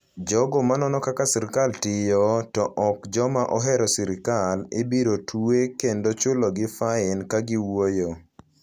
Jogo ma nono kaka sirkal tiyo, to ok joma ohero sirkal, ibiro twe kendo chulogi fain ka giwuoyo.